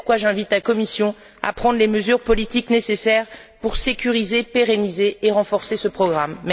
C'est pourquoi, j'invite la Commission à prendre les mesures politiques nécessaires pour sécuriser, pérenniser et renforcer ce programme.